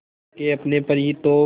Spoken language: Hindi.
खो के अपने पर ही तो